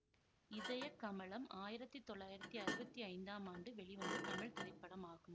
இதயக் கமலம் ஆயிரத்தி தொள்ளாயிரத்தி அறுவத்தி ஐந்தாம் ஆண்டு வெளிவந்த தமிழ் திரைப்படமாகும்